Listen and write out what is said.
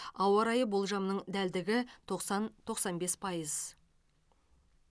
ауа райы болжамының дәлдігі тоқсан тоқсан бес пайыз